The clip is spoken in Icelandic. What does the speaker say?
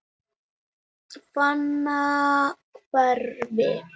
Fannahvarfi